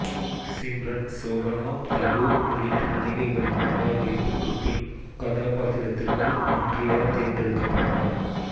சிம்ரன் சோபனா தபு உள்ளிட்ட நடிகைகளின் நிராகரிப்புக்குப்பின் இக்கதாபாத்திரத்திற்கு ஆண்ட்ரியா தேர்ந்தெடுக்கப்பட்டார்